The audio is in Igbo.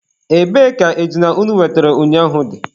Ebee ka ejuna unu wetere ụnyaahụ dị?